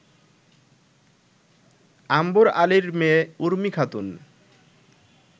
আম্বর আলীর মেয়ে উর্মি খাতুন